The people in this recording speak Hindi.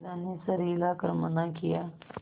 बिन्दा ने सर हिला कर मना किया